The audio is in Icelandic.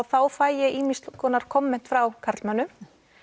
þá fæ ég ýmis konar komment frá karlmönnum